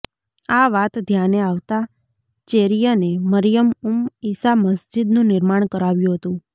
આ વાત ધ્યાને આવતાં ચેરિયને મરિયમ ઉમ્મ ઈસા મસ્જિદનું નિર્માણ કરાવ્યું હતું